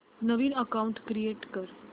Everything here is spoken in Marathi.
नवीन अकाऊंट क्रिएट कर